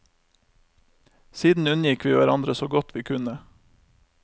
Siden unngikk vi hverandre så godt vi kunne.